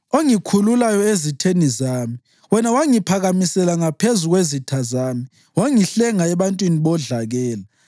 ongikhululayo ezitheni zami. Wena wangiphakamisela ngaphezu kwezitha zami; wangihlenga ebantwini bodlakela.